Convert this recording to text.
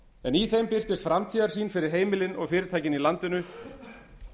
en í þeim birtist framtíðarsýn fyrir heimilin og fyrirtækin í landinu